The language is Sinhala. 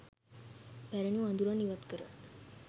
පැරණි වඳුරන් ඉවත්කර